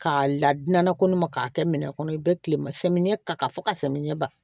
K'a ladonna kɔnɔma k'a kɛ minɛn kɔnɔ i bɛ kile ma samiyɛ ta ka fɔ ka samiyɛ ba